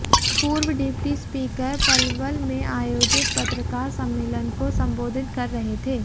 पूर्व deputy speaker Palwal में आयोजित पत्रकार सम्मेलन को संबोधित कर रहे थे